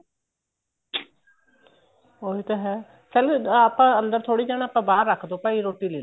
ਉਹੀ ਤਾਂ ਏ ਚੱਲ ਆਪਾਂ ਅੰਦਰ ਥੋੜੀ ਜਾਣਾ ਆਪਾਂ ਬਹਾਰ ਰੱਖਦੋ ਭਾਈ ਰੋਟੀ ਲੈਲੋ